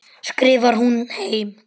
skrifar hún heim.